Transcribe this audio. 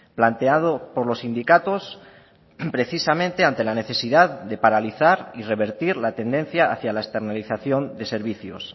planteado por los sindicatos precisamente ante la necesidad de paralizar y revertir la tendencia hacia la externalización de servicios